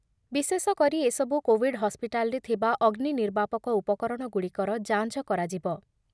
ବିଶେଷକରି ଏସବୁ କୋଭିଡ୍ ହସ୍ପିଟାଲରେ ରେ ଥିବା ଅଗ୍ନିନିର୍ବାପକ ଉପକରଣଗୁଡିକର ଯାଞ୍ଚ କରାଯିବ ।